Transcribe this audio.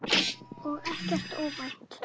Og ekkert óvænt.